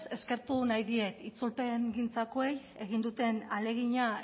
eskertu nahi diet itzulpengintzakoei egin duten ahalegina